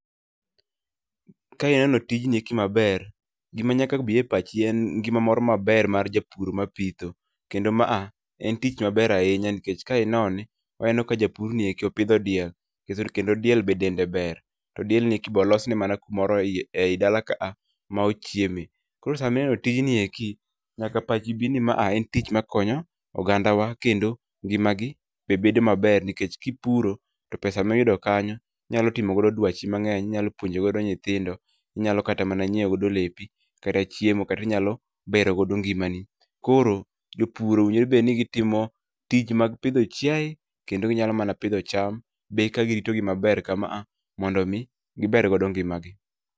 Ka ineno tijni eki maber, gima nyaka bi e pachi en ngima mor maber mar japur ma pitho. Kendo maa, en tich maber ahinya nikech ka inone, oneno ka japurni eki opidho diel. Kendo diel be dende ber, to dielnieki be olosne mana kumoro ei dala ka a ma ochieme. Koro samineno tijnieki, nyaka pachi bi ni ma a en tich makonyo ogandawa kendo ngima gi be bedo maber nikech kiputo to pesa miyudo kanyo inyalo timo godo dwachi mang'eny. Inyalo puonjo godo nyithindo, inyalo kata mana nyiewo godo lepi, kata chiemo, kata inyalo bero godo ngimani. Koro, jopur owinjore bedni gitimo tij mag pidho chiaye, kendo ginyalo mana pidho cham. Be eka giritogi maber kama, mondo mi giber godo ngima gi.